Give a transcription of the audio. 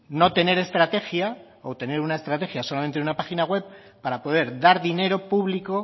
no tener estrategia o tener una estrategia solamente en una página web para poder dar dinero público